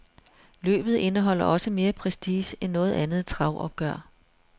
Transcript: Løbet indeholder også mere prestige end noget andet travopgør.